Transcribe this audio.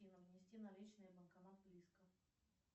афина внести наличные банкомат близко